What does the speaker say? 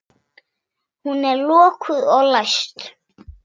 Hún er lokuð og læst.